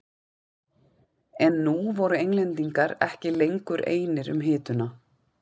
En nú voru Englendingar ekki lengur einir um hituna.